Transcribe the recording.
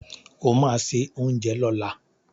O ma se oúnjẹ lọ́la!